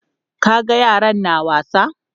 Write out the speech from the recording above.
Ka ga yaran na wasa?